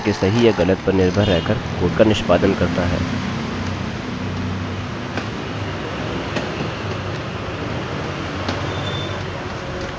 while loop loop के प्रारंभ में एक कंडीशन यानि शर्त को जाँचता है और कंडीशन के सही या गलत पर निर्भर रह कर कोड का निष्पादन करता है